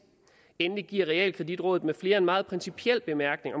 endelig giver realkreditrådet med flere en meget principiel bemærkning